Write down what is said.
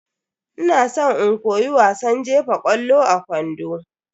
Ina san in koyi wasan jefa ƙwallo a kwando.